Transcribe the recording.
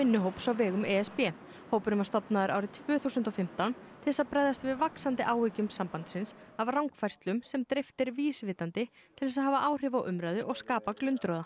vinnuhóps á vegum e s b hópurinn var stofnaður árið tvö þúsund og fimmtán til þess að bregðast við vaxandi áhyggjum sambandsins af rangfærslum sem dreift er vísvitandi til þess að hafa áhrif á umræðu og skapa glundroða